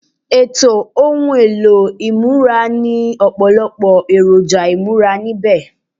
Ètò ohun èlò ìmúra ní ọ̀pọ̀lọpọ̀ èròjà ìmúra níbẹ̀